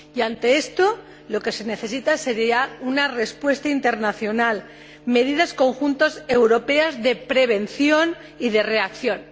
Y ante esto, se necesitaría una respuesta internacional y medidas conjuntas europeas de prevención y de reacción.